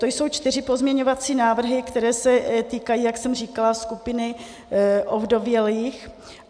To jsou čtyři pozměňovací návrhy, které se týkají, jak jsem říkala, skupiny ovdovělých.